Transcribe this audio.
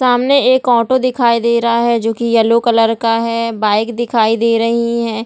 सामने एक ऑटो दिखाई दे रहा है जो की येलो कलर का है बाइक दिखाई दे रही है ।